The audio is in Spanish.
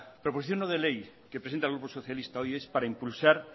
proposición no de ley que presenta el grupo socialista hoy es para impulsar